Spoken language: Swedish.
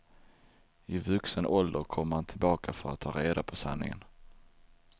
I vuxen ålder kommer han tillbaka för att ta reda på sanningen.